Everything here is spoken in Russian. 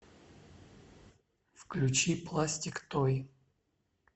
включи пластик той